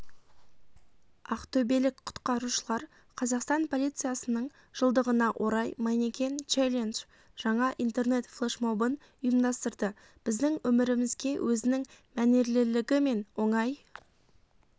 ақтөбелік құтқарушылар қазақстан полициясының жылдығына орай манекен-челендж жаңа интернет-флешмобын ұйымдастырды біздің өмірімізге өзінің мәнерлілігімен оңай